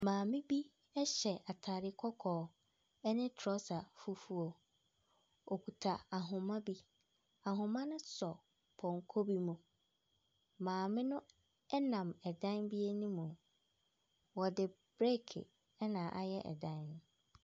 Maame bi ɛhyɛ ataade kɔkɔɔ ɛne trɔsa fufuo. Okuta ahoma bi. Ahoma no sɔ pɔnkɔ bi mu. Maame no ɛnam ɛdan bi anim. Wɔde briki ɛna ayɛ ɛdan no.